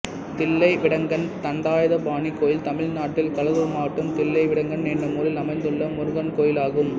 தில்லைவிடங்கன் தண்டாயுதபாணி கோயில் தமிழ்நாட்டில் கடலூர் மாவட்டம் தில்லைவிடங்கன் என்னும் ஊரில் அமைந்துள்ள முருகன் கோயிலாகும்